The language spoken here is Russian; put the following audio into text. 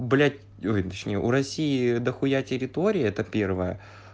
блять ой точнее у россии до хуя территории это первое